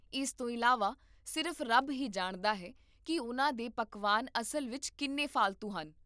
ਇਸ ਤੋਂ ਇਲਾਵਾ, ਸਿਰਫ਼ ਰੱਬ ਹੀ ਜਾਣਦਾ ਹੈ ਕਿ ਉਨ੍ਹਾਂ ਦੇ ਪਕਵਾਨ ਅਸਲ ਵਿੱਚ ਕਿੰਨੇ ਫਾਲਤੂ ਹਨ